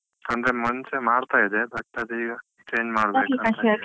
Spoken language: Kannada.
ಅಂದ್ರೆ ಮುಂಚೆ ಮಾಡ್ತಾ ಇದ್ದೆ, but ಅದೀಗ change ಮಾಡ್ಬೇಕು .